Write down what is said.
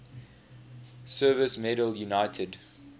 service medal united